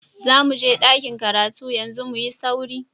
Zamuje ɗakin karatu yanzu, muyi sauri.